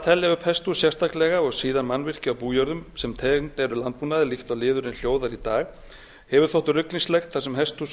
telja upp hesthús sérstaklega og síðan mannvirki á bújörðum sem tengd eru landbúnaði líkt og liðurinn hljóðar í dag hefur þótt ruglingslegt þar sem hesthús á